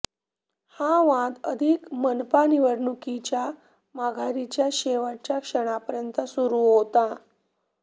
हा वाद अगदी मनपा निवडणुकीच्या माघारीच्या शेवटच्या क्षणापर्यंत सुरू होता